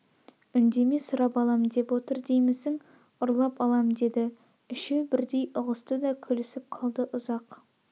үндеме сұрап алам деп отыр деймсің ұрлап алам деді үшеу бірдей ұғысты да күлісіп қалды ұзақ